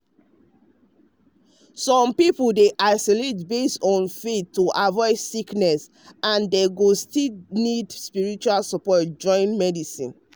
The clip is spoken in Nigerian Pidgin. some people dey isolate based on faith to avoid sickness and dem go still need spiritual support join medicine.